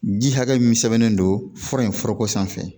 Ji hakɛ min sɛbɛnnen don fura in foroko sanfɛ